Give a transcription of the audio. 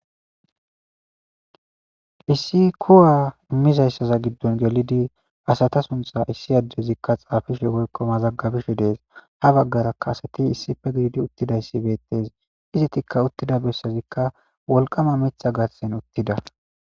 hisi kuwa immizayssaza giddon gelidi asata suntha issi addezikka xaafishe woykkoma zaggabishe dees ha baggarakkaasati issife gididi uttidayssi beettes izitikka uttida bessazikka wolqama mitha gatsen uttida